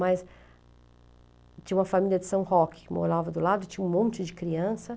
Mas tinha uma família de São Roque que morava do lado, tinha um monte de criança.